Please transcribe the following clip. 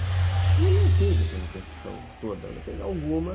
E ele não teve essa repercussão toda, não teve alguma.